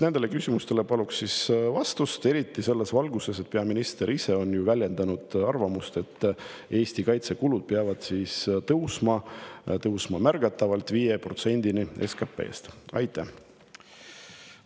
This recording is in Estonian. Nendele küsimustele paluks vastust, eriti selles valguses, et peaminister ise on ju väljendanud arvamust, et Eesti kaitsekulud peavad tõusma ja tõusma märgatavalt, 5%‑ni SKP‑st. Aitäh!